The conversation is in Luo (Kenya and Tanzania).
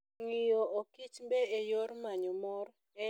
Ng'iyo okichmbe e yor manyo mor en yo maber mar puonjruok.